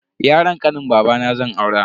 Yaron kanin babana zan aura.